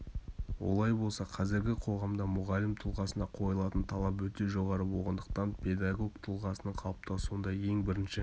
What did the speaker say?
олай болса қазіргі қоғамда мұғалім тұлғасына қойылатын талап өте жоғары болғандықтан педагог тұлғасының қалыптасуында ең бірінші